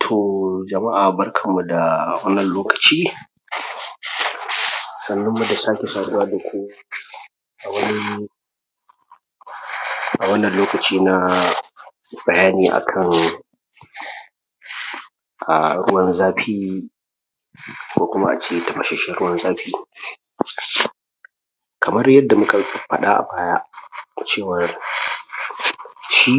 To jama’a barkanum da wannan lokaci, sannunmu da sake saduwa daku a wani, a wannan lokaci na bayani akan a ruwan zafi, ko kuma ace tafashashen ruwan zafi. Kamar yadda muka faɗa a baya da cewa shi